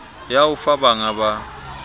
ya ho fa bangga ba